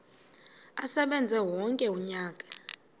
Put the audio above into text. asebenze wonke umnyaka